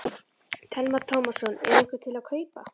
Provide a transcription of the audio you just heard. Telma Tómasson: Er einhver til að kaupa?